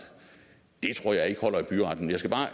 det tror jeg ikke holder i byretten jeg skal bare